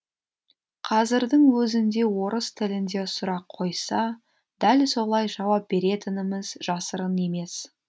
қазірдің өзінде орыс тілінде сұрақ қойса дәл солай жауап беретініміз жасырын емес